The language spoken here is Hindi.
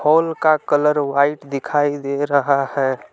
होल का कलर व्हाइट दिखाई दे रहा है।